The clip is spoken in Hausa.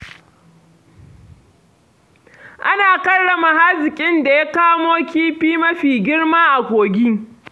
Ana karrama haziƙin da ya kamo kifi mafi girma a kogi.